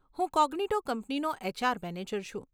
હું કોગ્નીટો કંપનીનો HR manager છું.